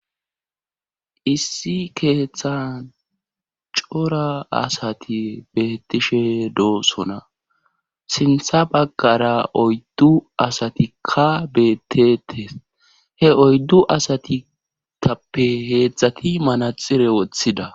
Issi keeththan cora asati beettishe doosona sintha baggara oyddu asatikka beettete he oyddu asatitappe heedzdzati manaxire woththida